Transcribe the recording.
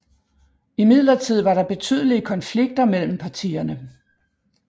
Imidlertid var der betydelige konflikter mellem partierne